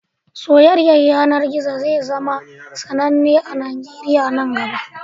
Soyayyar yanar gizo zai zama sananne a Najeriya nan gaba